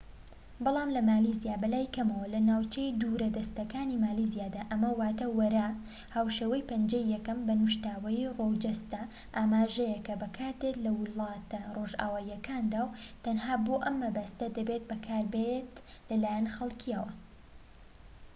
بەڵام لە مالیزیا بەلای کەمەوە لە ناوچە دوورە دەستەکانی مالیزیادا ئەمە واتە وەرە هاوشێوەی پەنجەی یەکەم بە نوشتاوەیی ڕووەو جەستە ئاماژەیەك کە بەکاردێت لە ولاتە ڕۆژئاواییەکاندا و تەنها بۆ ئەم مەبەستە دەبێت بەکاربێت لەلایەن خەڵكییەوە